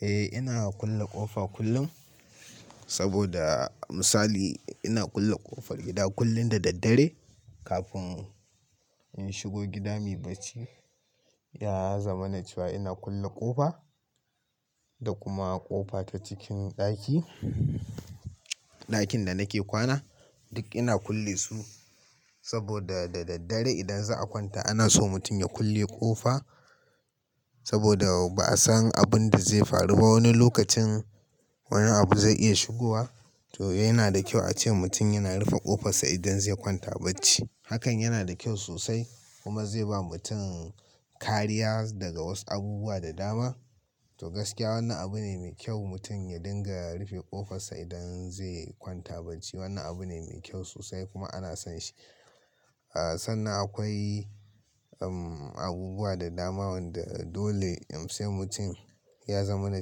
Eh, ina kulle ƙofa kullum saboda misali ina kulle ƙofar gida kullin da daddare kafin in shigo gida muyi bacci. Ya zama na cewa ina kulle ƙofa da kuma ƙofa ta cikin ɗaki, ɗakin da nake kwana duk ina kulle su saboda da daddare idan za a kwanta ana so mutum ya kulle ƙofa saboda ba a san abin da zai faru ba wani lokacin wani abu zai iya shigowa. To yana da kyau ace mutum yana rufe ƙofarsa idan zai kwanta bacci. Hakan yana da kyau sosai kuma zai ba mutum kariya daga wasu abubuwa da dama. To gaskiya wannan abu ne mai kyau mutum ya dinga rufe ƙofarsa idan zai kwanta bacci. Wannan abu ne mai kyau sosai kuma ana son shi. Sannan akwai, um, abubuwa da dama wanda dole sai mutum ya zama na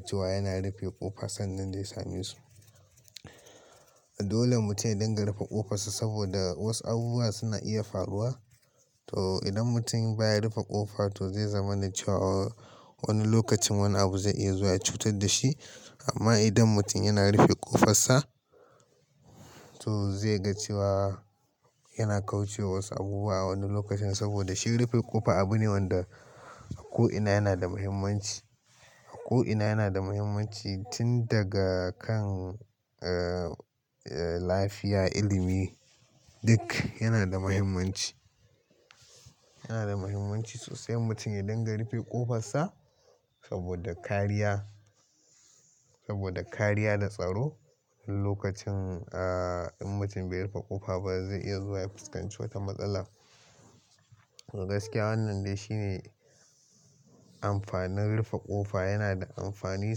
cewa yana rufe ƙofa sannan zai sami su. Dole mutum ya dinga rufe ƙofarsa saboda wasu abubuwa suna iya faruwa. To idan mutum baya rufe ƙofa to zai zama na cewa wani lokacin wani abu zai iya zuwa ya cutar da shi. Amma idan mutum yana rufe ƙofarsa to zai ga cewa yana kauce wa wasu abubuwa a wani lokacin saboda shi rufe ƙofa abu ne wanda a ko ina yana da muhimmanci. A ko ina yana da muhimmanci tun daga kan, eh, eh lafiya, ilimi duk yana da muhimmanci. Yana da muhimmanci sosai mutum ya dinga rufe ƙofarsa saboda kariya, saboda kariya da tsaro. Lokacin, ah, in mutum bai rufe ƙofa ba zai iya zuwa ya fuskanci wata matsala. To gaskiya wannan dai shine amfanin rufe ƙofa. Yana da amfani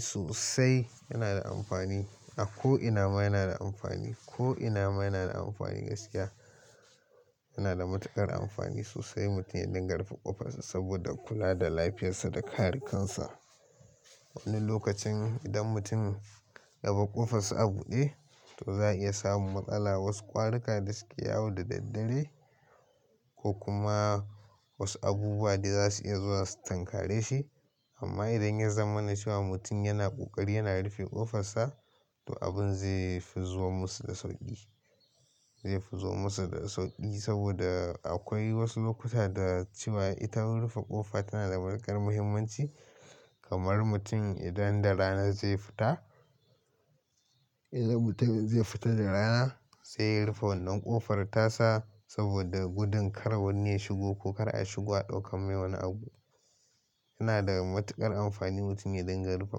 sosai. Yana da amfani a ko ina ma yana da amfani. Ko ina ma yana da amfani gaskiya. Yana da matuƙar amfani sosai mutum ya dinga rufe ƙofarsa saboda kula da lafiyarsa da kare kansa. Wani lokacin idan mutum yabar ƙofarsa a buɗe to za a iya samun matsala wasu ƙwarika da suke yawo da daddare ko kuma wasu abubuwa da za su iya zuwa su tankare shi. Amma idan ya zama na cewa mutum yana ƙoƙari yana rufe ƙofarsa to abin zai fi zuwan musu da sauƙi. Zai fi zuwan musu da sauƙi saboda akwai wasu lokuta da cewa ita rufe ƙofa tana da matuƙar muhimmanci kamar mutum idan da rana zai fita, idan mutum zai fita da rana sai ya rufe wannan ƙofar tasa saboda gudun kar wani ya shigo ko kar a shigo a ɗauka mai wani abu. Yana da matuƙar amfani mutum ya dinga rufe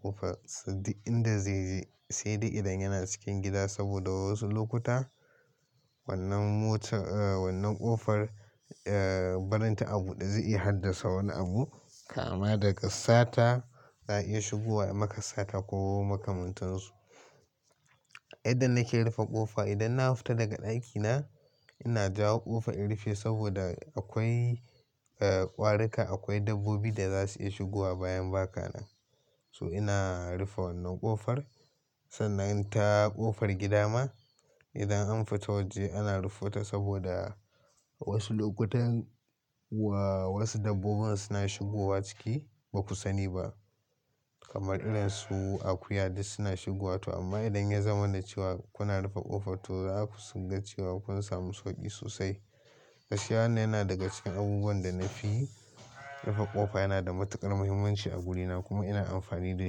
ƙofar sa duk inda zai je sai dai idan yana cikin gida saboda wasu lokuta wannan mota, eh, wannan ƙofar, eh, barinta a buɗe zai iya haddasa wani abu kama daga sata. Za a iya shigowa a maka sata ko makamantansu. Inda nake rufe ƙofa idan na fita daga ɗakina ina jawo ƙofa in rufe saboda akwai, eh, ƙwarika. Akwai dabbobi da za su iya shigowa bayan baka nan. To ina rufe wannan ƙofar. Sannan in ta ƙofar gida ma idan an fita waje ana rufe ta saboda wasu lokutan wa-wasu dabbobin suna shigowa ciki ba ku sani ba kamar irin su akuya duk suna shigowa to amma idan ya zama na cewa kuna rufe ƙofa to za ku cewa kun samu sauƙi sosai. Gaskiya wannan yana daga cikin abubuwan da na fi rufe ƙofa yana da matuƙar muhimmanci a guri na kuma ina amfani da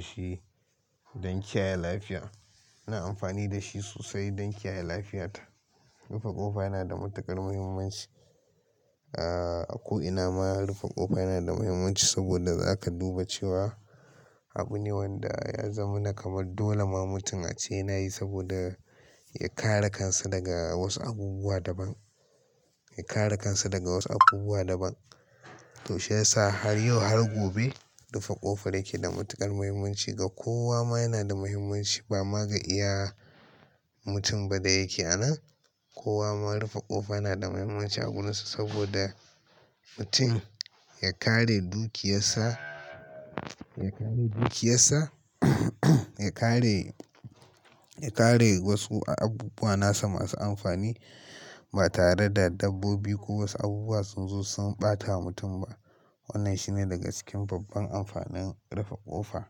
shi don kiyaye lafiya. Ina amfani da shi sosai don kiyaye lafiyata. Rufe ƙofa yana da matuƙar muhimmanci. A ko ina ma rufe ƙofa yana da muhimmanci saboda za ka duba cewa abu ne wanda ya zama na kamar dole ma mutum a ce yana yi saboda ya kare kansa daga wasu abubuwa daban. Ya kare kansa daga wasu abubuwa daban. To shiyasa har yau har gobe rufe ƙofa yake da matuƙar muhimmanci. Ga kowa ma yana da muhimmanci. Ba ma ga iya mutum ba da yake a nan. Kowa ma rufe ƙofa yana da muhimmanci a gurinsa saboda mutum ya kare dukiyarsa, ya kare dukiyarsa, ya kare, ya kare wasu abubuwa nasa masu amfani ba tare da dabbobi ko wasu abubuwa sunzo sun ɓatawa mutum ba. Wannan shi ne daga cikin babban amfanin rufe ƙofa.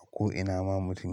A ko ina ma mutum ya.